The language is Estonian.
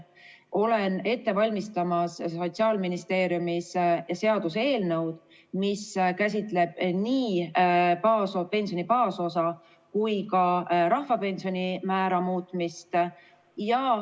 Olen Sotsiaalministeeriumis ette valmistamas seaduseelnõu, mis käsitleb nii pensioni baasosa kui ka rahvapensioni määra muutmist.